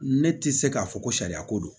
Ne tɛ se k'a fɔ ko sariya ko don